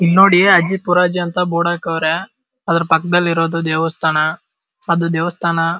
ಇಲ್ನೋಡಿ ಅಜ್ಜಿ ಪುರಜ್ಜಿ ಅಂತ ಬೋರ್ಡ್ ಹಾಕವ್ರೆ ಅದ್ರ ಪಕ್ಕದಲ್ಲಿ ಇರೋದು ದೇವಸ್ಥಾನ ಅದು ದೇವಸ್ಥಾನ --